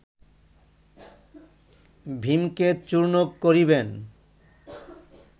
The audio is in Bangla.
ভীমকে চূর্ণ করিবেন